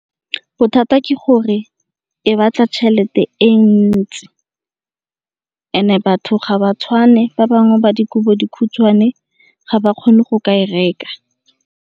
Bothata ke gore e batla tšhelete e ntsi e ne batho ga ba tshwane, ba bangwe ba dikobo dikhutshwane ga ba kgone go ka e reka.